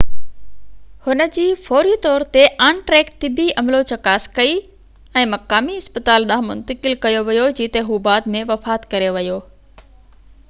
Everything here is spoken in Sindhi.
هن جي فوري طور تي آن-ٽريڪ طبي عملو چڪاس ڪئي ۽ هڪ مقامي اسپتال ڏانهن منتقل ڪيو ويو جتي هو بعد ۾ وفات ڪري ويو